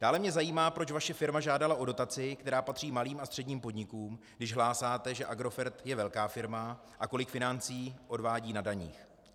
Dále mě zajímá, proč vaše firma žádala o dotaci, která patří malým a středním podnikům, když hlásáte, že Agrofert je velká firma a kolik financí odvádí na daních.